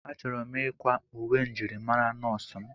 Achọrọ m ịkwa uwe njirimara nọọsụ m.